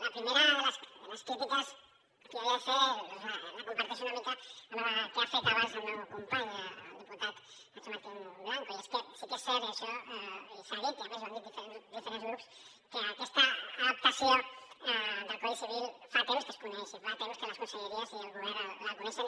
la primera de les crítiques que havia de fer la comparteixo una mica amb la que ha fet abans el meu company el diputat nacho martín blanco i és que sí que és cert i això s’ha dit i a més ho han dit diferents grups que aquesta adaptació del codi civil fa temps que es coneix i fa temps que les conselleries i el govern la coneixen